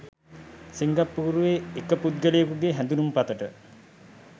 සිංගප්පූරුවේ එක පුද්ගලයකුගේ හැඳුනුම්පතට